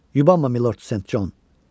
Yubanma Milord Sent Con.